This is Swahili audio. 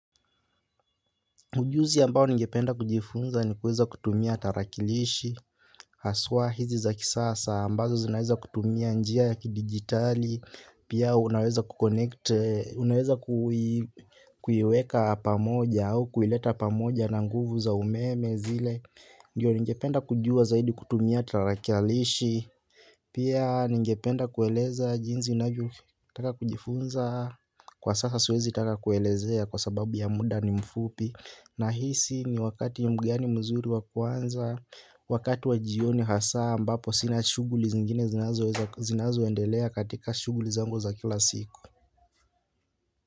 Ujuzi ambao ningependa kujifunza ni kuweza kutumia tarakilishi. Haswa hizi za kisasa ambazo zinaweza kutumia njia ya kidijitali pia unaweza kuconnect, unaweza kuiweka pamoja au kuileta pamoja na nguvu za umeme zile. Ndiyo ningependa kujua zaidi kutumia tarakilishi. Pia ningependa kueleza jinsi navyotaka kujifunza. Kwa sasa siwezi taka kuelezea kwa sababu ya muda ni mfupi. Nahisi ni wakati mgani mzuri wa kuanza, wakati wa jioni hasa ambapo sina shughuli zingine zinazo endelea katika shughuli zangu za kila siku.